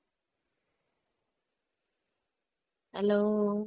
hello